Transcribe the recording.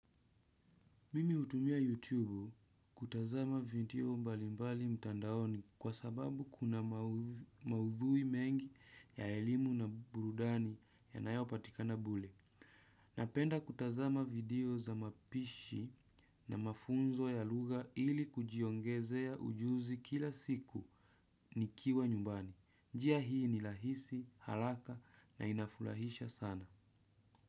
Mimi hutumia YouTube kutazama video mbalimbali mtandaoni kwa sababu kuna maudhui mengi ya elimu na burudani ya nayo patikana bule. Napenda kutazama video za mapishi na mafunzo ya lugha ili kujiongezea ujuzi kila siku nikiwa nyumbani. Njia hii ni lahisi, halaka na inafurahisha sana.